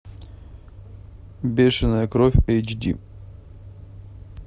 бешенная кровь эйч ди